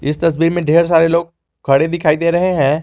इस तस्वीर में ढेर सारे लोग खड़े दिखाई दे रहे हैं।